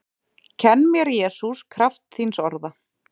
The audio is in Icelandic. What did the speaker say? Kenn mér Jesús kraft þíns orða